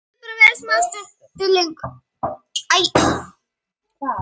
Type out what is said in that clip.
Mikið burst.